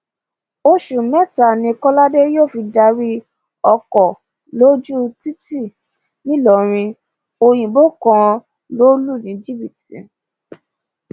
oṣù mẹta ni kọládé yóò fi darí ọkọ lójú títì nìlọrin òyìnbó kan lọ lù ní jìbìtì